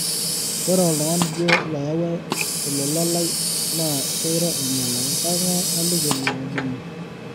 ore oltungani duo loyaua olola lai naa keiro ainyelaki, kengae aliki ilo omoni